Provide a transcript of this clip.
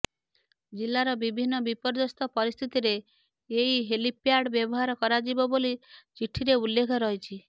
ଜିଲ୍ଲାର ବିଭିନ୍ନ ବିପର୍ଯ୍ୟସ୍ତ ପରିସ୍ଥିତିରେ ଏହି ହେଲିପ୍ୟାଡ୍ ବ୍ୟବହାର କରାଯିବ ବୋଲି ଚିଠିରେ ଉଲ୍ଲେଖ ରହିଛି